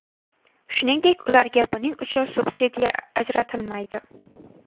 Shuningdek, ularga buning uchun subsidiya ajratilmaydi.